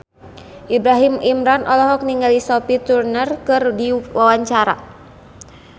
Ibrahim Imran olohok ningali Sophie Turner keur diwawancara